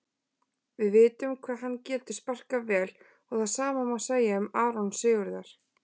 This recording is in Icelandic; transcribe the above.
Við vitum hvað hann getur sparkað vel og það sama má segja um Aron Sigurðar.